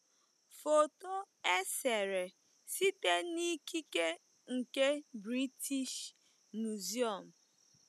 Foto e sere site n'ikike nke British Museum.